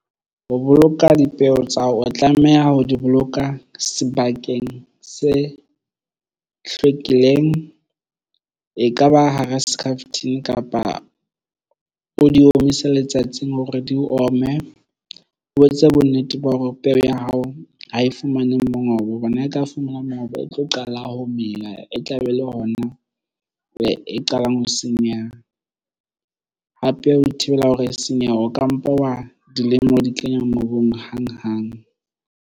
Ho boloka dipeo tsa hao o tlameha ho di boloka sebakeng se hlwekileng. E kaba hara skhaftin kapa o di omise letsatsing hore di ome o etse bonnete ba hore peo ya hao ha e fumane mongobo bona e ka fumana mongobo o tlo qala ho mela e tlabe ele hona e qalang ho senyeha hape ho ithibela hore e senyehe. O ka mpa wa dilema o di kenya mobung hang hang.